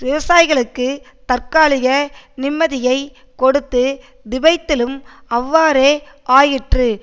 விவசாயிகளுக்கு தற்காலிக நிம்மதியைக் கொடுத்து திபெத்திலும் அவ்வாறே ஆயிற்று